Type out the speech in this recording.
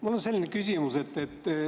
Mul on selline küsimus.